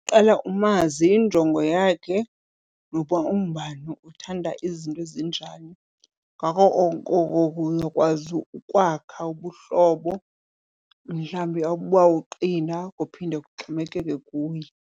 Qala umazi injongo yakhe noba ungubani, uthanda izinto ezinjani. Ngako oko ke uyakwazi ukwakha ubuhlobo mhlawumbi obawuqina, kuphinde kuxhomekeke kuye.